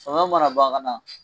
Fana mana ban kana